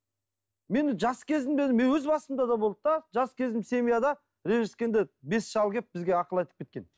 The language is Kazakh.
мен жас кезімде мен өз басымда да болды да жас кезімде семьяда ренжіскенде бес шал келіп бізге ақыл айтып кеткен